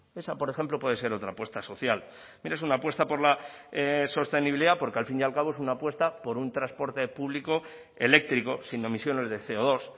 esa por ejemplo puede ser otra apuesta social mire es una apuesta por la sostenibilidad porque al fin y al cabo es una apuesta por un transporte público eléctrico sin emisiones de ce o dos